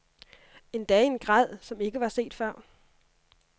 Endda i en grad, som ikke var set før.